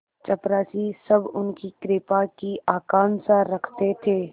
चपरासीसब उनकी कृपा की आकांक्षा रखते थे